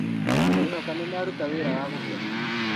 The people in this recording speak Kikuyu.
Ngwĩhoka nĩmaruta wĩra wa gũkenia.